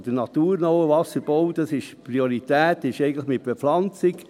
Beim naturnahen Wasserbau liegt die Priorität auf einer Bepflanzung.